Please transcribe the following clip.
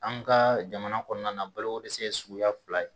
An ka jamana kɔnɔna na balokodɛsɛ ye suguya fila ye.